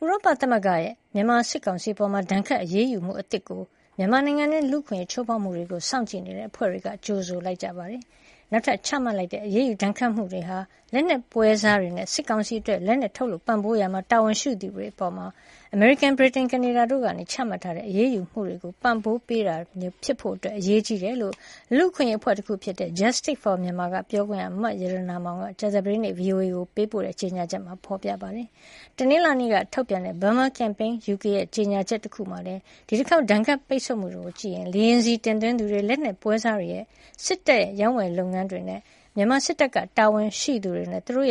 ဥရောပ သမဂ္ဂရဲ့ မြန်မာ စစ်ကောင်စီ အပေါ် ဒဏ်ခတ် အရေးယူမှု အသစ်ကို မြန်မာနိုင်ငံတွင်း လူ့အခွင့်အရေး ချိုးဖောက်မှုတွေကို စောင့်ကြည့်နေတဲ့ စည်းရုံးလှုပ်ရှားရေး အဖွဲ့တွေက ကြိုဆိုကြပါတယ်။ နောက်ထပ်ချမှတ်တဲ့ အရေးယူဒဏ်ခတ်မှုတွေဟာ လက်နက်ပွဲစားတွေနဲ့ စစ်ကောင်စီအတွက် လက်နက်ထုတ်လုပ် ပံ့ပိုးရာမှာ တာဝန်ရှိသူတွေ အပေါ် အမေရိကန်၊ ဗြိတိန်၊ ကနေဒါတို့က ချမှတ်ထားတဲ့ အရေးယူမှုတွေကို ပံ့ပိုးပေးတာမျိုး ဖြစ်ဖို့ အရေးကြီးတယ်လို့ လူ့အခွင့်အရေးအဖွဲ့တခုဖြစ်တဲ့ Justice for Myanmar က ပြောခွင့်ရ မရတနာမောင်က ကြာသပတေးနေ့က ဗွီအိုအေကို ပေးပို့တဲ့ ကြေညာချက်မှာ ပြောပါတယ်။ တနလာင်္နေ့က ထုတ်တဲ့ Burma Campaign UK အဖွဲ့ရဲ့ ကြေညာချက် တခုထဲမှာလည်း ဒီတခေါက် ဒဏ်ခတ်ပိတ်ဆို့မှုတွေကိုကြည့်ရင် လေယာဉ်ဆီ တင်သွင်းသူတွေ၊ လက်နက်ပွဲစားတွေ၊ စစ်တပ်ရဲ့ ဝယ်ယူရေး လုပ်ငန်းကြီးတွေနဲ့ မြန်မာ စစ်တပ်က တာဝန်ရှိသူတွေနဲ့ သူတို့